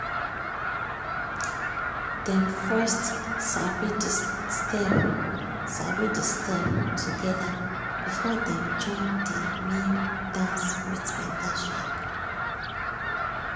dem first sabi de steps sabi de steps together before dem join de main dance with better swag.